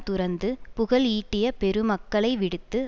துறந்து புகழ் ஈட்டிய பெருமக்களை விடுத்து